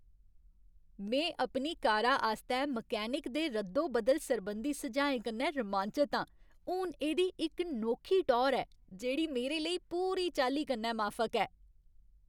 में अपनी कारा आस्तै मैकेनिक दे रद्दो बदल सरबंधी सुझाएं कन्नै रोमांचत आं। हून इ'दी इक नोखी टौह्र ऐ जेह्ड़ी मेरे लेई पूरी चाल्ली कन्नै माफक ऐ।